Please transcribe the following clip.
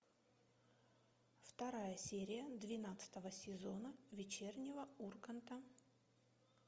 вторая серия двенадцатого сезона вечернего урганта